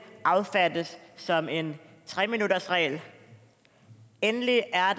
affattes som en tre minuttersregel endelig er